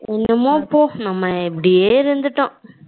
என்னமோ போ நம்ம இப்படியே இருந்துட்டோம்.